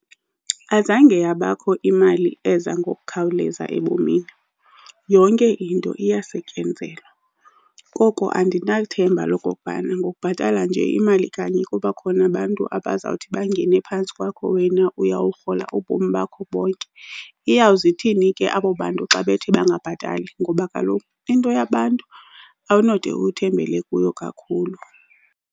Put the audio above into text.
Azange yabakho imali eza ngokukhawuleza ebomini, yonke into iyasetyenzelwa. Koko andinalo ithemba lokokubana ngobhatala nje imali kanye kuba khona abantu abazawuthi bangene phantsi kwakho, wena uyawurhola ubomi bakho bonke. Iyawuze ithini ke abo bantu xa bethi bangabhatali ngoba kaloku into yabantu awunode uthembele kuyo kakhulu.